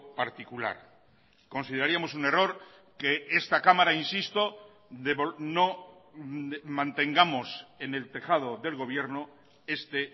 particular consideraríamos un error que esta cámara insisto no mantengamos en el tejado del gobierno este